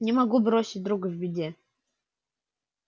не могу бросить друга в беде